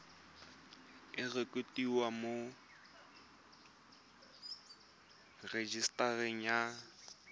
e rekotiwe mo rejisetareng ya